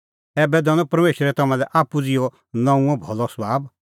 ऐबै दैआ परमेशरा थारी समझ़ और सभाब नऊंईं बणांणैं